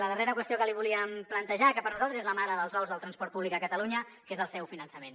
la darrera qüestió que li volíem plantejar que per a nosaltres és la mare dels ous del transport públic a catalunya és el seu finançament